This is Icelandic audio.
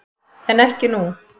En ekki nú.